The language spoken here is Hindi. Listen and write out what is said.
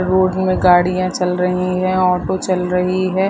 रोड में गाड़ियाँ चल रही है ऑटो चल रही है।